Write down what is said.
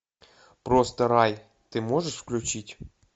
просто рай ты можешь включить